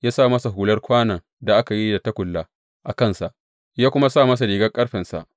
Ya sa masa hular kwanon da aka yi da tagulla a kansa, ya kuma sa masa rigar ƙarfensa.